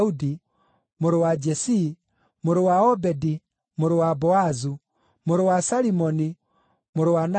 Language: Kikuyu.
mũrũ wa Jesii, mũrũ wa Obedi, mũrũ wa Boazu, mũrũ wa Salimoni, mũrũ wa Nahashoni,